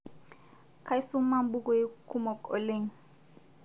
Kaisoma mpukoi kumo oleng